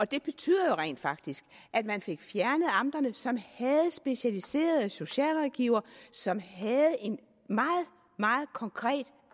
det betyder jo rent faktisk at man fik fjernet amterne som havde specialiserede socialrådgivere som havde en meget meget konkret